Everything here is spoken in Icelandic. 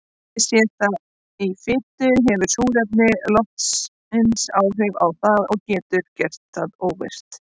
Sé það í fitu hefur súrefni loftsins áhrif á það og getur gert það óvirkt.